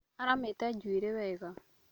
Aramĩte njuĩrĩ wega